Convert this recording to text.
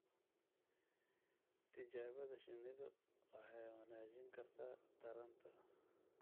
Tijaabada shinnidu waxay wanaajin kartaa taranta.